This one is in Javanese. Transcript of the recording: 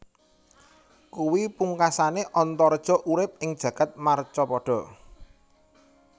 Kuwi pungkasané Antareja urip ing jagad marcapada